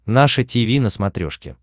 наше тиви на смотрешке